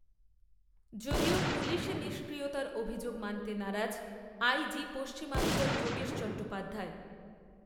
যদিও পুলিশি নিষ্ক্রিয়তার অভিযোগ মানতে নারাজ আই জি পশ্চিমাঞ্চল যোগেশ চট্টোপাধ্যায়